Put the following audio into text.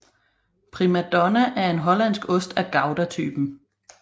Prima Donna er en hollandsk ost af goudatypen